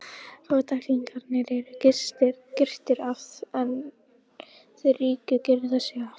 Fátæklingarnir eru girtir af en þeir ríku girða sig af.